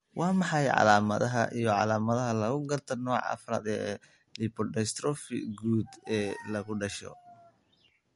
Waa maxay calaamadaha iyo calaamadaha lagu garto nooca 4 ee lipodystrophy guud ee lagu dhasho?